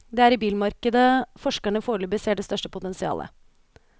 Det er i bilmarkedet forskerne foreløpig ser det største potensialet.